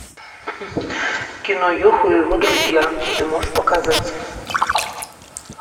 кино юху и его друзья ты можешь показать